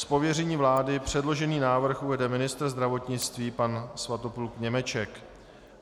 Z pověření vlády předložený návrh uvede ministr zdravotnictví pan Svatopluk Němeček.